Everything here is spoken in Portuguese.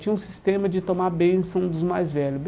Tinha um sistema de tomar benção dos mais velhos.